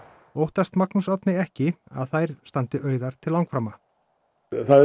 óttast Magnús Árni ekki að þær standi auðar til langframa